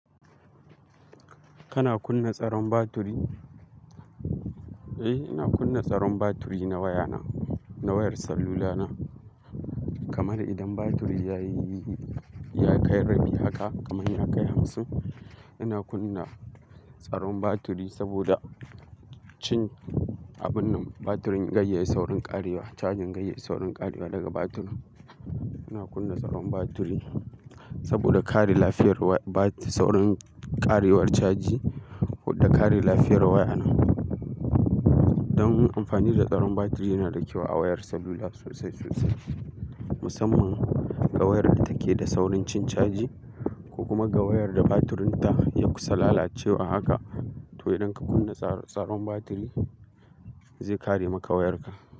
Kana kunna tsaron batiri? Eh, ina kunna tsaron batiri na waya na, na wayar salula na. Kamar idan batiri ya yi, ya kai rabi haka, kamar ya kai hamsin, ina kunna tsaron batiri saboda, cin abun nan batirin gayayyayi saurin ƙarewa, cajin gayayyayi saurin ƙarewa daga batirin. Ina kunna tsaron batiri saboda kare lafiyar saurin ƙarewar caji da kare lafiyar waya na. Don amfani da tsaron batiri yana da kyau a wayar salula sosai-sosai, musamman ga wayar da take da saurin cin caji ko kuma ga wayar da batirinta ya kusa lalacewa haka. To idan ka kunna tsaron batiri zai kare maka wayarka.